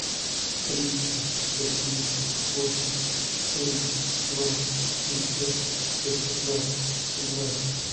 триста восемьдесят восемь семьдесят ноль семьсот восемнадцать семнадцать